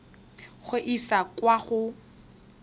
go e isa kwa go